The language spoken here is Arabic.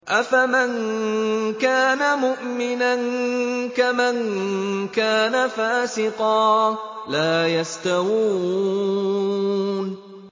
أَفَمَن كَانَ مُؤْمِنًا كَمَن كَانَ فَاسِقًا ۚ لَّا يَسْتَوُونَ